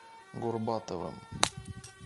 горбатовым